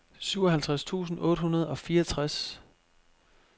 syvoghalvtreds tusind otte hundrede og fireogtres